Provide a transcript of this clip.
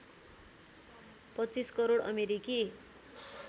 २५ करोड अमेरिकी